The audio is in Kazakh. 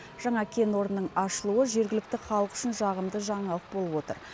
жаңа кен орнының ашылуы жергілікті халық үшін жағымды жаңалық болып отыр